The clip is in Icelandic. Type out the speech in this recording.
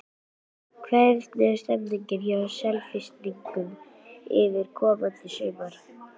Hvernig er stemmingin hjá Selfyssingum fyrir komandi sumar?